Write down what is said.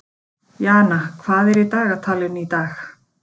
Jana, hvað er í dagatalinu í dag?